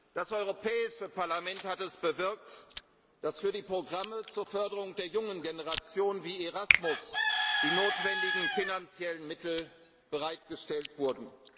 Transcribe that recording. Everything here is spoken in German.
Das Europäische Parlament hat es bewirkt, dass für die Programme zur Förderung der jungen Generation, wie Erasmus, die notwendigen finanziellen Mittel bereitgestellt